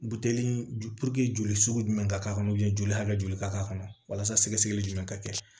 Buteli joli sugu jumɛn ka k'a kɔnɔ joli hakɛ joli ka k'a kɔnɔ walasali jumɛn ka kɛ